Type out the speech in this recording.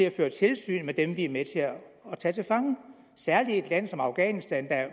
at føre tilsyn med dem vi er med til at tage til fange særlig i et land som afghanistan